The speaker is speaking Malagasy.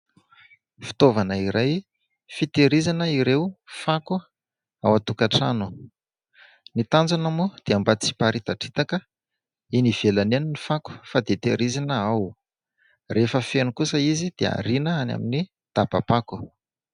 Fitaovana iray fitahirizana ireo fako ao an-tokantrano. Ny tanjona moa dia mba tsy hiparitadritaka eny ivelany eny ny fako fa dia tahirizina ao. Rehefa feno kosa izy dia ariana any amin'ny dabam-pako.